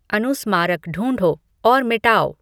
अनुस्मारक ढूंढो और मिटाओ